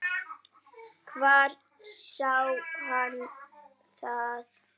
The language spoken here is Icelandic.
Hvar sá hann það?